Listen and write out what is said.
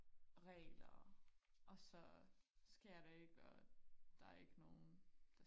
regler og så sker det ikke og der er ikke nogen